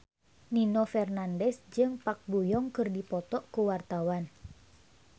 Nino Fernandez jeung Park Bo Yung keur dipoto ku wartawan